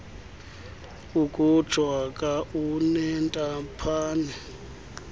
ukutsho aka unentaphane